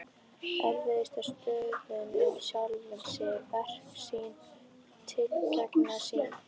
Efast stöðugt um sjálfan sig, verk sín, tilgang sinn.